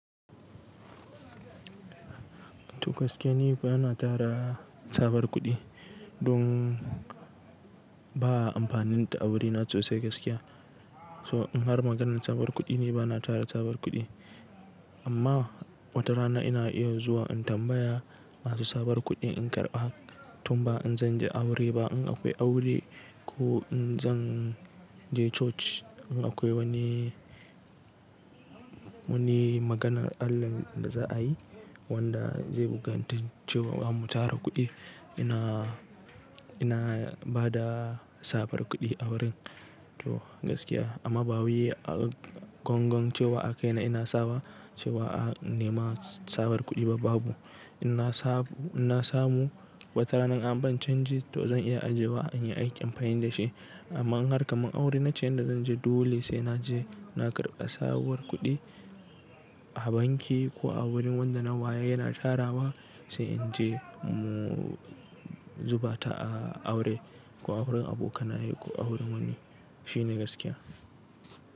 To gaskiya ni ba na tara sabon kuɗi, don ba a amfaninta a wurina sosai gaskiya. So in har maganar tsabar kuɗi ne bana tara tsabar kuɗi. Amma watarana ina iya zuwa in tambaya masu sabon kuɗi in karɓa, tun ba in zan je aure ba in akwai aure ko in zan je church. In akwai wani, wani maganar Allah da za'a yi wadda zai bukantace mu tara kuɗi. Ina, ina ba da sabon kuɗi a wurin. To gaskiya amma ba wai gon gon cewa akai na ina sawa cewa in nema sabon kuɗi ba babu. Ina samu, ina samu watarana in an ban canji to zan iya ajiye wa in yi aiki amfani da shi. Amma in har kaman aure na ce yadda zan je dole sai na je. Na karɓa sabon kuɗi a banki ko a wurin wadda na waye yana tarawa sai in je mu zuba ta a aure ko a wurin abokanaye ko a wurin wani. Shine gaskiya.